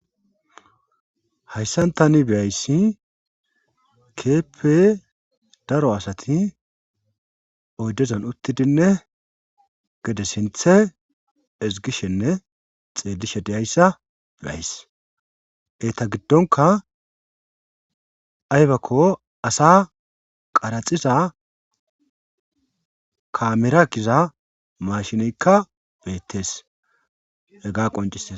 Hayssantani beyayssi keeppe daro asati oddezan uttidinne gede sinthe izgishenne xeelishe deyayssa beays eta giddonka aybakko asa qaraxiza kamera giza mashinekka beettees ega qonciees